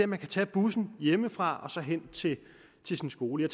man kan tage bussen hjemmefra og hen til sin skole